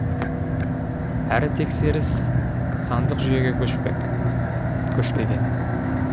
әрі тексеріс сандық жүйеге көшпеген